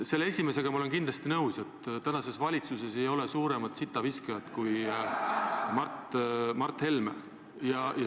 Selle väitega olen ma kindlasti nõus, et tänases valitsuses ei ole suuremat sitaviskajat kui Mart Helme.